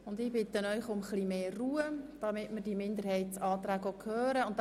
Und ich bitte Sie um etwas mehr Ruhe, damit wir die Minderheitsanträge hören können.